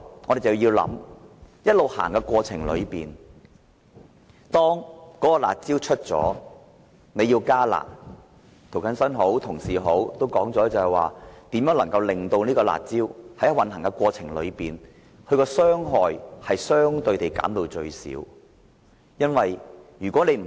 我們也要考慮，如果在"辣招"推出後要加"辣"，正如涂謹申議員及其他同事所說，怎能在推出"辣招"的過程中，把其傷害相對地減至最少？